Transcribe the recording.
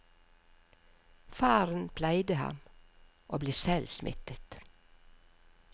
Faren pleide ham, og ble selv smittet.